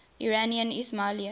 iranian ismailis